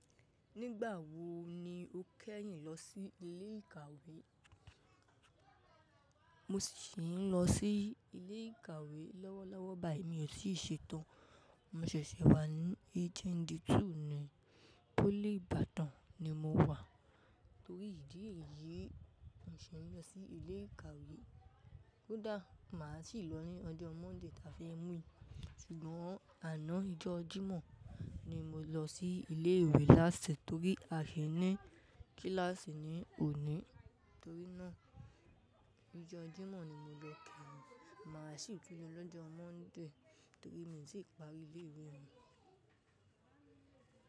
Nígbà wo ni o kẹ́yìn lọ sí ilé ìkàwé? Mo sì ń lọ sí ilé ìkàwé lọ́wọ́lọ́wọ́ báyìí mi ò sì ṣe tán. Mo ṣẹ̀ṣẹ̀ wà ní HND two ni. Pólì Ìbàdàn ni mo wà. Torí ìdí èyí, mi ò ṣe lọ sí ilé ìkàwé. Kódà màá sì lọ ní ọjọ́ Monday ta fi ń mú ì. Ṣùgbọ́n àná íjọ́ Jímọ̀ ni mo lọ sí ilé ìwé lásẹ̀ torí a ní kíláàsì ní òní. Torí náà, ọjọ́ Jímọ̀ ni mo lọ káàbì. Màá sì tún lọ lọ́jọ́ Monday torí mi ò tí ì parí ilé ìwé mi.